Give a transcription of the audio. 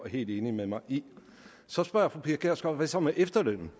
helt enig med mig i så spørger fru pia kjærsgaard hvad så med efterlønnen